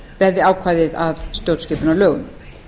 verði ákvæðið að stjórnskipunarlögum